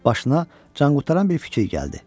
Başına canqutaran bir fikir gəldi.